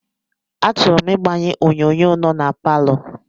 Achọrọ m ịgbanye onyonyo nọ na palọ